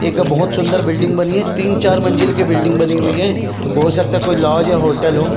एक बहुत सुन्दर बिल्डिंग बनी हे तीन -चार मंजिल की बिल्डिंग बनी हुई हे हो सकता हे कोई लौज या होटल हो --